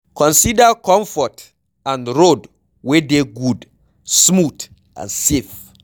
Consider comfort and road wey dey good smooth and safe